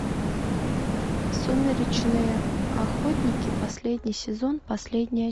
сумеречные охотники последний сезон последняя